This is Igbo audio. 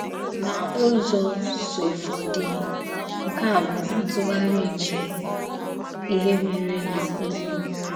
N’ụ́zọ̀sọ̀fọ̀dé, nke a bụ ntùghàrí nke íhè mèré na Ụ́gwù.